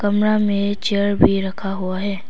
कमरा में चेयर भी रखा हुआ है।